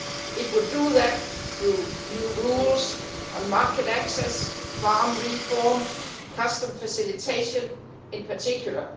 It would do that through new rules on market access, farm reform and customs facilitation in particular.